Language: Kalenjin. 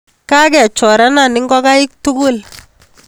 Kakechorana ngokaik tugul